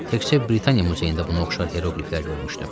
Təkcə Britaniya muzeyində buna oxşar heroqliflər görmüşdüm.